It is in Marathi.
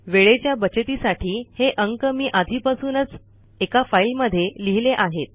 वेळेच्या बचतीसाठी हे अंक मी आधीपासूनच एका फाईलमध्ये लिहिले आहेत